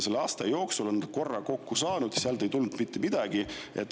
Selle aasta jooksul on ta korra kokku saanud – sealt ei tulnud mitte midagi.